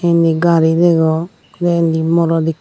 inni gari degong tey inni morot ekko.